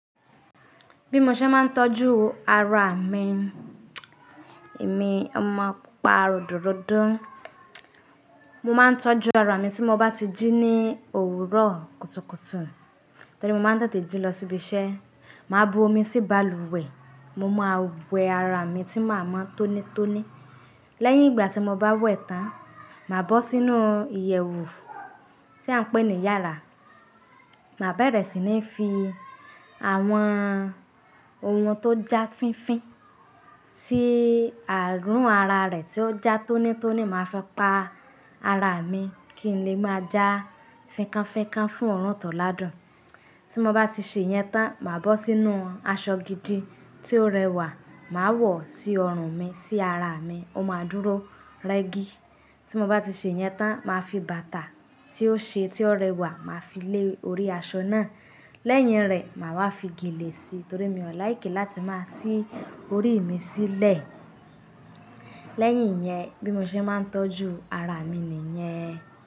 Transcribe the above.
Bí mo ṣe máa ń tọ́jú ara mi. Èmi ọmọ pupa ròdòròdó. Mo máa ń tọ́jú ara mi tí mo bá ti jí ní òwúrọ̀ kùtùkùtù. Torí mo máa ń tètè jí lọ síbi iṣẹ́. Màá bu omi sí balùwẹ̀, mo máa wẹ́ ara mi tí màá mọ́ tónítóní. Lẹ́yìn ìgbà tí mo bá wẹ̀ tán, màá bọ́ sínú ìyẹ̀wù tí à ń pè ní yára. Màá bẹ̀rẹ̀ sí ní fi àwọn ohun tó já fínfín sí ààrùn ara rẹ̀ tí ó já tónítóní. Màá fi pa ara mi kí n lè máa já fínkánfínkán fún oruntoládùn. Tí mo bá ti ṣe ìyẹn tán, màá bọ́ sínú aṣọ gidi tí ó rẹwà, màá wọ̀ sí ọrùn mi, sí ara mi, ó máa dúró rẹ́gí. Tí mo bá ti ṣe ìyẹn tán, màá fi bàtà tí ó ṣe, tí ó rẹwà, màá fi lé orí aṣọ náà. Lẹ́yìn rẹ̀, màá wá fi gèlè sí, torí mi ò láìki láti máa sí orí mi sílẹ̀. Lẹ́yìn yẹn, bí mo ṣe máa ń tọ́jú ara mi nìyẹn.